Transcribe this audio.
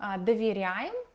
а доверяем